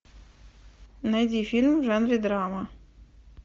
найди фильм в жанре драма